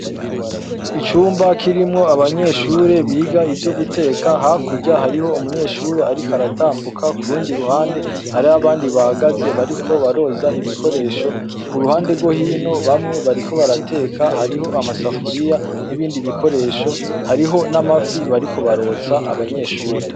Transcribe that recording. Icumba kirimwo abanyeshure biga ivyo guteka hakurya harimwo umunyeshure aratambuka kurundi ruhande hari abandi bahagaze bariko baroza ibikoresho kuruhande rwohino bamwe bariko barateka hariho amasafuriya nibindi bikoresho hariho namafi bariko barotsa abanyeshure.